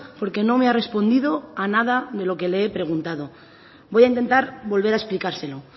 porque no me ha respondido a nada de lo que le he preguntado voy a intentar volver a explicárselo